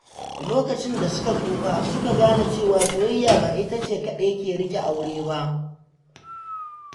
Lokacin da suka tsufa, su ka gane cewa soyayya ba ita ce kaɗai ke riƙe aure ba.